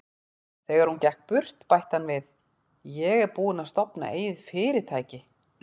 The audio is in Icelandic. Þegar hún gekk burt, bætti hann við: Ég er búinn að stofna eigið fyrirtæki.